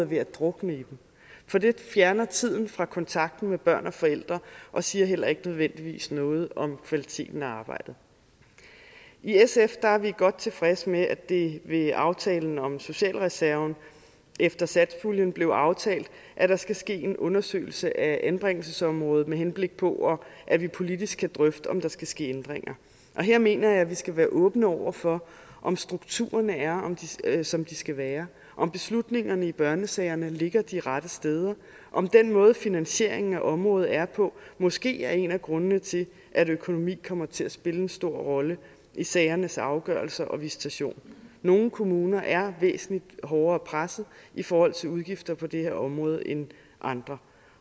ved at drukne i dem for det fjerner tiden fra kontakten med børn og forældre og siger heller ikke nødvendigvis noget om kvaliteten af arbejdet i sf er vi godt tilfredse med at det ved aftalen om socialreserven efter satspuljen blev aftalt at der skal ske en undersøgelse af anbringelsesområdet med henblik på at vi politisk kan drøfte om der skal ske ændringer her mener jeg vi skal være åbne over for om strukturerne er som de skal være om beslutningerne i børnesagerne ligger de rette steder om den måde finansieringen af området er på måske er en af grundene til at økonomi kommer til at spille en stor rolle i sagernes afgørelse og visitation nogle kommuner er væsentligt hårdere presset i forhold til udgifter på det her område end andre